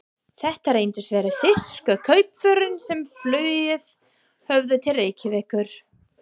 Þetta reyndust vera þýsku kaupförin, sem flúið höfðu til Reykjavíkur.